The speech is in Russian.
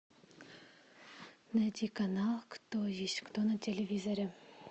найди канал кто есть кто на телевизоре